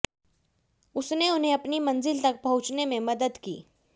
उसने उन्हें अपनी मंजिल तक पहुंचने में मदद की